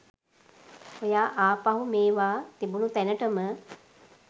ඔයා ආපහු මෙවා තිබුණු තැනටම